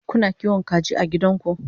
Kuna kiwon kaji a gidanku?